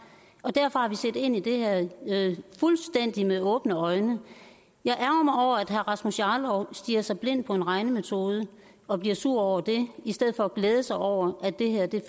og derfor har vi set ind i det her med fuldstændig åbne øjne jeg ærgrer mig over at herre rasmus jarlov stirrer sig blind på en regnemetode og bliver sur over det i stedet for at glæde sig over at det her